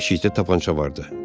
Yeşikdə tapança vardı.